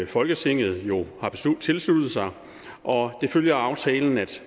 folketinget jo har tilsluttet sig og det følger af aftalen at